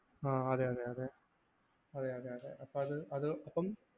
ആ അതെയതെ അതെ അതെയതെ അതെ അപ്പം അത് അത്